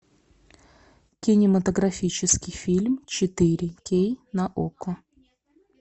кинематографический фильм четыре кей на окко